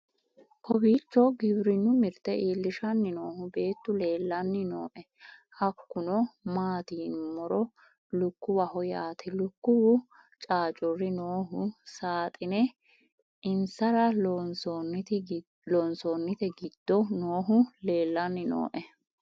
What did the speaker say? kowiicho giwirinnu mirte iillishshanni noohu beetu leellanni nooe hakkuno maati yinummoro lukkuwaho yaate lukkuwu caacurri noohu saaxine insara loonsoonnite gido noohu lellanni noe